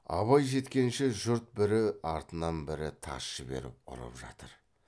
абай жеткенше жұрт бірі артынан бірі тас жіберіп ұрып жатыр